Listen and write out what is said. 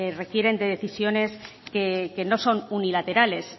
requieren de decisiones que no son unilaterales